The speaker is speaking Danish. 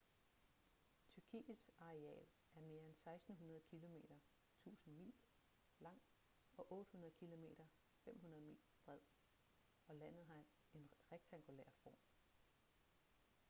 tyrkiets areal er mere end 1600 kilometer 1000 mil lang og 800 km 500 mil bred og landet har en rektangulær form